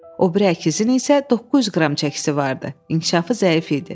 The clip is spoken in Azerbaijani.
O biri əkizin isə 900 qram çəkisi vardı, inkişafı zəif idi.